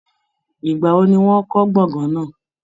Ìgbà wo ni wọ́n kọ́ gbọ̀ngán náà?